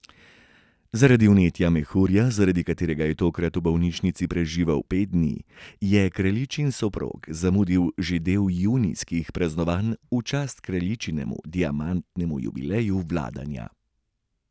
Zaradi vnetja mehurja, zaradi katerega je tokrat v bolnišnici preživel pet dni, je kraljičin soprog zamudil že del junijskih praznovanj v čast kraljičinemu diamantnemu jubileju vladanja.